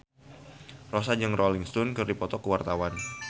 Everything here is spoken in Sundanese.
Rossa jeung Rolling Stone keur dipoto ku wartawan